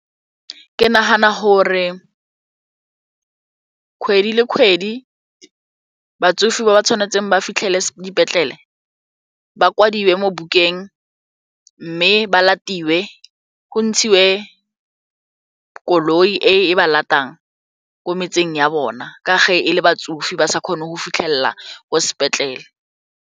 Ke nagana gore kgwedi le kgwedi batsofe ba ba tshwanetseng ba fitlhele dipetlele ba kwadiwe mo bukeng mme ba latelwe go ntshiwe koloi e e ba latelang ko metseng ya bona ka ge e le batsofe ba sa kgone go fitlhelela ko sepetlele.